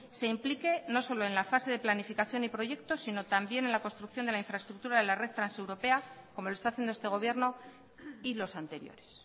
se implique no solo en la fase de planificación y proyecto sino también en la construcción de la infraestructura de la red transeuropea como lo está haciendo este gobierno y los anteriores